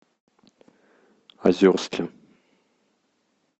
озерске